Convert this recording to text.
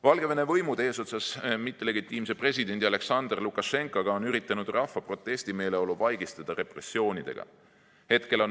Valgevene võimud eesotsas mittelegitiimse presidendi Aljaksandr Lukašenkaga on üritanud rahva protestimeeleolu vaigistada repressioonidega.